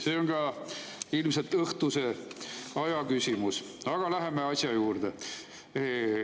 See on ka ilmselt õhtuse aja küsimus, aga läheme asja juurde.